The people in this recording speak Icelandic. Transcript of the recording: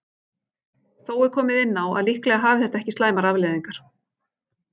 Þó er komið inn á að líklega hafi þetta ekki slæmar afleiðingar.